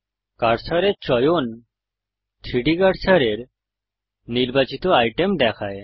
কার্সারের চয়ন 3ডি কার্সারের নির্বাচিত আইটেম দেখায়